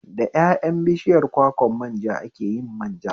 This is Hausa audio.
Da ƴaƴan bishiyar kwakwan manja ake yin manja